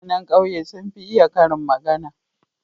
Mutane ƙauye sun fi iya karin magana.